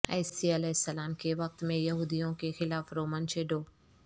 عیسی علیہ السلام کے وقت میں یہودیوں کے خلاف رومن شیڈو